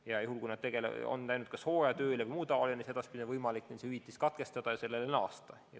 Ja kui nad on läinud kas hooajatööle või muule ajutisele tööle, siis on neil võimalik selle hüvitise saamine katkestada ja hiljem seda uuesti saama hakata.